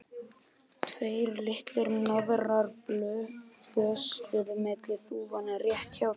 Tveir litlir hnoðrar bösluðu milli þúfna rétt hjá þeim.